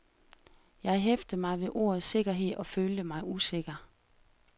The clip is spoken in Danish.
Jeg hæftede mig ved ordet sikkerhed og følte mig usikker.